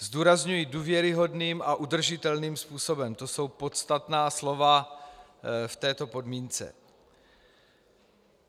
Zdůrazňuji důvěryhodným a udržitelným způsobem - to jsou podstatná slova v této podmínce.